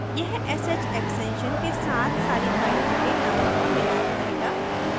यह sh extension के साथ सारी फाइलों के नामों का मिलान करेगा